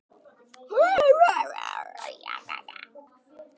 Áhugi á landinu eykst.